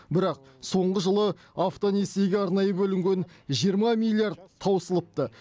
бірақ соңғы жылы автонесиеге арнайы бөлінген жиырма миллиард таусылыпты